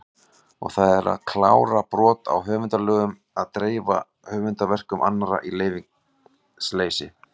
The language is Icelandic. Og það er klárt brot á höfundalögum að dreifa höfundarverkum annarra í leyfisleysi!